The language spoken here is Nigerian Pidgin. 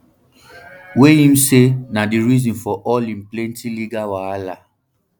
wey im say na di reason for all im plenti legal wahala